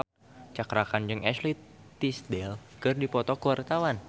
Cakra Khan jeung Ashley Tisdale keur dipoto ku wartawan